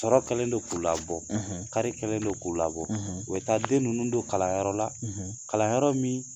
Tɔɔrɔ kɛlen don k'u labɔ, kari kɛlen don k'u labɔ, u taa den ninnu don kalanyɔrɔ la kalanyɔrɔ min